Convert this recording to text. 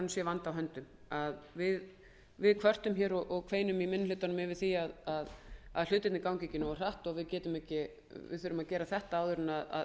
sé vandi á höndum við kvörtum hér og kveinum í minni hlutanum yfir því að hlutirnir gangi ekki nógu hratt og við þurfum að gera þetta áður en